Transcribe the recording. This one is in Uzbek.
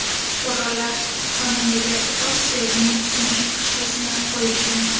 Shifokorlar xonandaga tos suyagining sinishi tashxisini qo‘yishgan.